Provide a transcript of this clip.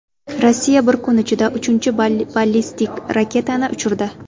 Rossiya bir kun ichida uchinchi ballistik raketani uchirdi.